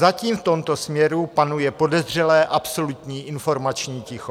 Zatím v tomto směru panuje podezřelé absolutní informační ticho.